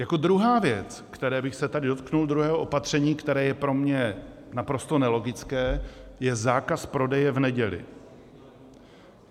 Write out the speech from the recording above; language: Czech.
Jako druhá věc, které bych se tady dotkl, druhého opatření, které je pro mě naprosto nelogické, je zákaz prodeje v neděli.